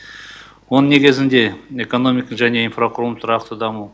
оның негізінде экономика және инфрақұрылымдық тұрақты даму